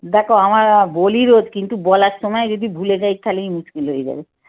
দেখ আমার আহ বলি রোজ কিন্তু বলার সময় যদি ভুলে যাই তালেই মুশকির হয়ে যাবে।